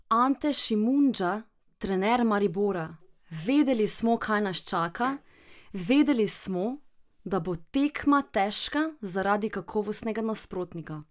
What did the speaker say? Ante Šimundža, trener Maribora: "Vedeli smo kaj nas čaka, vedeli smo, da bo tekma težka zaradi kakovostnega nasprotnika.